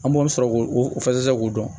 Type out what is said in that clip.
An b'o sɔrɔ k'o fasɛgɛ k'o dɔn